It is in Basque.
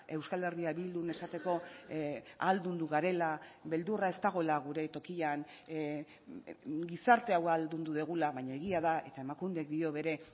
euskal herria bildun esateko ahaldundu garela beldurra ez dagoela gure tokian gizarte hau ahaldundu dugula baina egia da eta emakundek dio bere